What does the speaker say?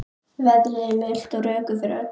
Veðrið er milt og rökkur yfir öllu.